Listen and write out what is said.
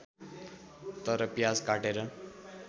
तर प्याज काटेर